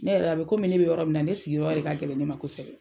Ne yɛrɛ a bɛ kɔmi ne bɛ yɔrɔ min na ne sigi yɔrɔ de ka gɛlɛn ne ma kosɛbɛ.